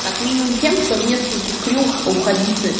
как минимум тем что в нескольких крюх находиться